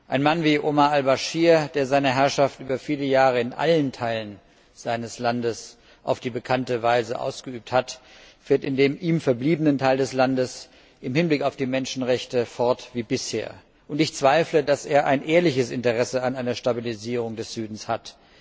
Ein Mann wie Omar Al Baschir, der seine Herrschaft über viele Jahre in allen Teilen seines Landes auf die bekannte Weise ausgeübt hat, fährt in dem ihm verbliebenen Teil des Landes im Hinblick auf die Menschenrechte fort wie bisher, und ich bezweifle, dass er ein ehrliches Interesse an einer Stabilisierung des Südens hat.